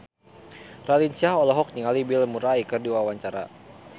Raline Shah olohok ningali Bill Murray keur diwawancara